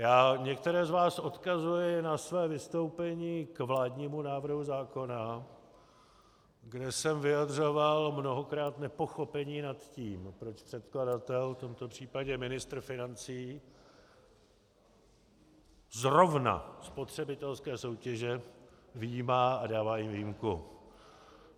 Já některé z vás odkazuji na své vystoupení k vládnímu návrhu zákona, kde jsem vyjadřoval mnohokrát nepochopení nad tím, proč předkladatel, v tomto případě ministr financí, zrovna spotřebitelské soutěže vyjímá a dává jim výjimku.